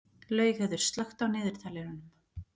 Laugheiður, slökktu á niðurteljaranum.